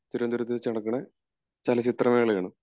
തിരുവനന്തപുരത്തു വച്ച് നടക്കണ ചലച്ചിത്ര മേള ആണ്